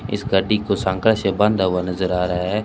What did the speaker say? इस गाड़ी को शंका से बंधा हुआ नजर आ रहा है।